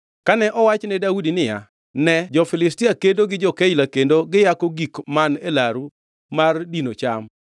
Kane owach ne Daudi niya, “Ne jo-Filistia kedo gi jo-Keila kendo giyako gik man e laru mar dino cham,”